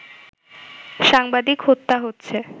সাংবাদিক হত্যা হচ্ছে